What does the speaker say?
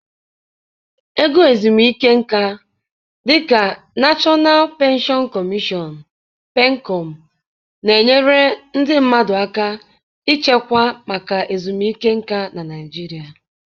Ego ezumike nka, dị ka National Pension Commission (PENCOM), na-enyere ndị mmadụ aka ịchekwa maka ezumike nka na Naijiria.)